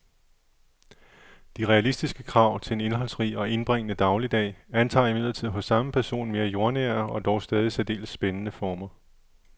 De realistiske krav til en indholdsrig og indbringende dagligdag antager imidlertid hos samme person mere jordnære og dog stadig særdeles spændende former.